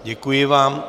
Děkuji vám.